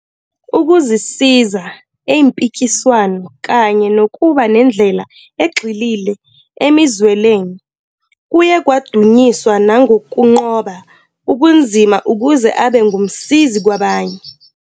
Ukuzisiza eyimpikiswano, kanye nokuba nendlela egxile emizwelweni, kuye kwadunyiswa nangokunqoba ubunzima ukuze abe ngumsizi kwabanye.